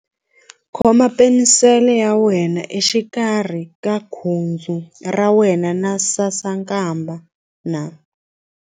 Khoma penisele ya wena exikarhi ka khudzu ra wena na sasankambana.